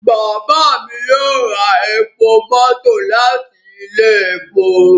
Baba mi yoo ra epo mọto lati ile epo